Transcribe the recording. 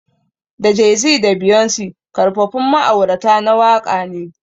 Da Jay-Z da Beyonce Karfafun ma'aurata na waka ne.